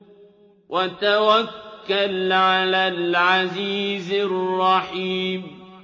وَتَوَكَّلْ عَلَى الْعَزِيزِ الرَّحِيمِ